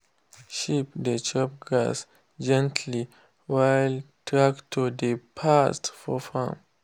sheep dey chop grass gently while tractor dey pass for farm.